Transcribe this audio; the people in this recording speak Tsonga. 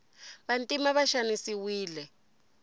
vantima va xanisiwile